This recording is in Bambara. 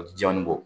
O tɛ janni bɔ